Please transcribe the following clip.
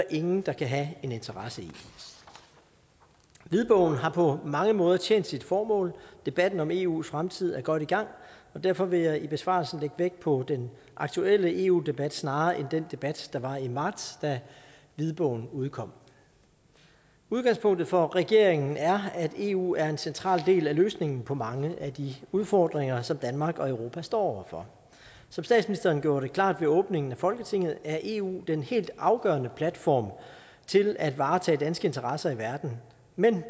ingen der kan have en interesse i hvidbogen har på mange måder tjent sit formål debatten om eus fremtid er godt i gang og derfor vil jeg i besvarelsen lægge vægt på den aktuelle eu debat snarere end den debat der var i marts da hvidbogen udkom udgangspunktet for regeringen er at eu er en central del af løsningen på mange af de udfordringer som danmark og europa står for som statsministeren gjorde det klart ved åbningen af folketinget er eu den helt afgørende platform til at varetage danske interesser i verden men